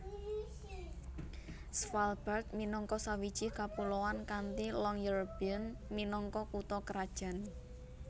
Svalbard minangka sawiji kapuloan kanthi Longyearbyen minangka kutha krajan